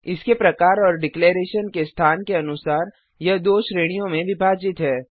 इसके प्रकार और डिक्लेरेशन घोषणा के स्थान के अनुसार यह दो श्रेणियों में विभाजित है